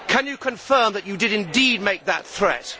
Can you confirm that you did indeed make that threat?